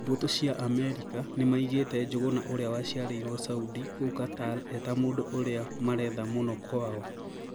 Mbũtũ cia Amerika nĩmaigĩte Njuguna ũrĩa waciarĩirwo Saudi kũu Qatar eta mũndũ ũrĩa maretha mũno kwao,